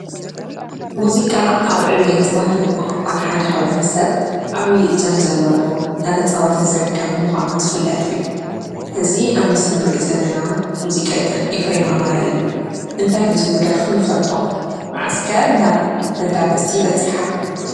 ሙዚቃ ኣብ ዕቤት ባህሊ ቋንቋ ሓደ ሕብረተሰብ ዓብይ እጃም ዘለዎ እንዳተፃወተ ዝርከብ ምኳኑ ዝፍለጥ እዩ። እዚ ኣብ ምስሊ እንሪኦ ዘለና ሙዚቀኛ ኤፍሬም ኣማረ እዩ። እንታይ ብዝብል ደርፉ ንፈልጦ ? መዓዝ ከ ናብ መዳመፅቲ በፂሓ ?